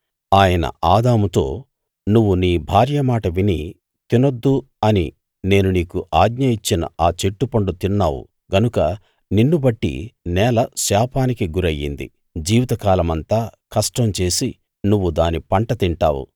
ఆయన ఆదాముతో నువ్వు నీ భార్య మాట విని తినొద్దు అని నేను నీకు ఆజ్ఞ ఇచ్చిన ఆ చెట్టు పండు తిన్నావు గనుక నిన్నుబట్టి నేల శాపానికి గురయ్యింది జీవితకాలమంతా కష్టం చేసి నువ్వు దాని పంట తింటావు